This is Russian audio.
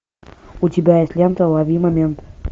у тебя есть лента лови момент